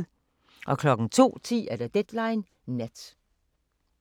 02:10: Deadline Nat